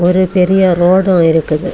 ஒரு பெரிய ரோடும் இருக்குது.